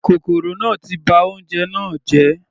Kòkòrò náà ti ba oúnjẹ náà jẹ́.